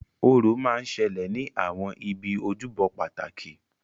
Orò máa ń ṣẹlẹ̀ ní àwọn ibi ojúbọ pàtàkì